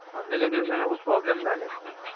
Online एज्युकेशनमुळे खूप problem झालेत.